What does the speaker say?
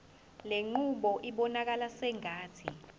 lenqubo ibonakala sengathi